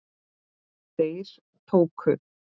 Þeir tóku